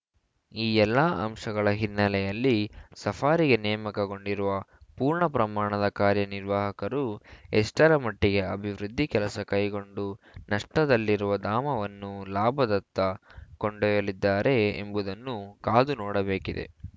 ಈ ಎಲ್ಲ ಅಂಶಗಳ ಹಿನ್ನೆಲೆಯಲ್ಲಿ ಸಫಾರಿಗೆ ನೇಮಕಗೊಂಡಿರುವ ಪೂರ್ಣ ಪ್ರಮಾಣದ ಕಾರ್ಯ ನಿರ್ವಾಹಕರು ಎಷ್ಟರ ಮಟ್ಟಿಗೆ ಅಭಿವೃದ್ಧಿ ಕೆಲಸ ಕೈಗೊಂಡು ನಷ್ಟದಲ್ಲಿರುವ ಧಾಮವನ್ನು ಲಾಭದತ್ತ ಕೊಂಡೊಯ್ಯಲಿದ್ದಾರೆ ಎಂಬುದನ್ನು ಕಾದು ನೋಡಬೇಕಿದೆ